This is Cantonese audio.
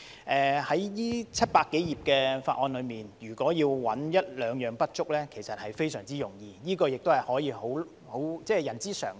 在這700多頁的法案中，如果要找一兩樣不足，其實非常容易，這也是人之常情。